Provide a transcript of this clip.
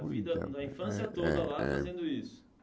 A vida, a infância É é toda lá fazendo isso?